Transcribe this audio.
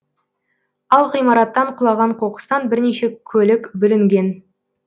ал ғимараттан құлаған қоқыстан бірнеше көлік бүлінген